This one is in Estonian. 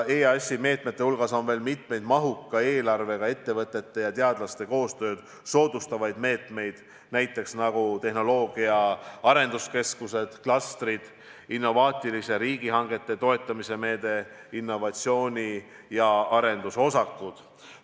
EAS-i meetmete hulgas on veel mitmeid mahuka eelarvega ettevõtete ja teadlaste koostööd soodustavaid meetmeid, näiteks tehnoloogia arenduskeskused, klastrid, innovatsiooniline riigihangete toetamise meede, innovatsiooni- ja arendusosakud.